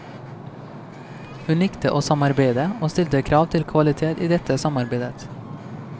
Hun likte å samarbeide, og stilte krav til kvalitet i dette samarbeidet.